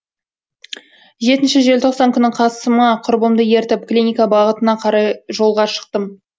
жетінші желтоқсан күні қасыма құрбымды ертіп клиника бағытына қарай жолға шықтым